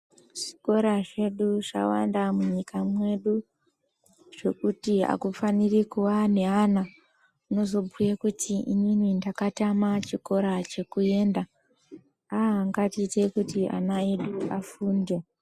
Zvikora zvedu zvawanda munyika mwedu, zvekuti akufaniri kuwa neana anozobhuye kuti inini ndakatama chikora chekuenda. Aah, ngatiite kuti ana edu afunde.